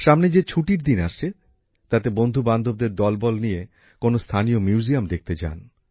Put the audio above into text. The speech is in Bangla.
সামনে যে ছুটির দিন আসছে তাতে বন্ধু বান্ধবদের দল বল নিয়ে কোনো স্থানীয় মিউজিয়াম দেখতে যান